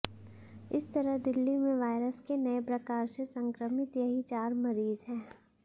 इस तरह दिल्ली में वायरस के नए प्रकार से संक्रमित यही चार मरीज हैं